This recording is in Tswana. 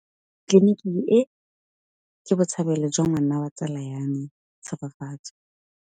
Tleliniki e, ke botsalêlô jwa ngwana wa tsala ya me Tshegofatso.